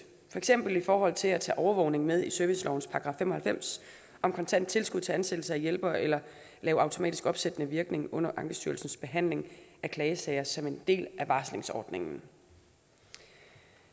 for eksempel i forhold til at tage overvågning med i servicelovens § fem og halvfems om kontant tilskud til ansættelse af hjælpere eller at have automatisk opsættende virkning under ankestyrelsens behandling af klagesager som en del af varslingsordningen